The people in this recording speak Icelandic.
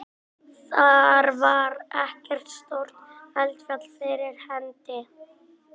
Þar var ekkert stórt eldfjall fyrir hendi.